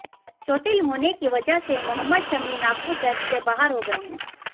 चोटिल होने की वजह से मोहम्मद शमी नागपुर टेस्ट से बाहर हो गए हैं